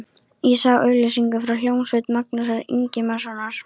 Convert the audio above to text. Ég sá auglýsingu frá hljómsveit Magnúsar Ingimarssonar.